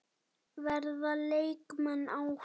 Verða leikmenn áfram?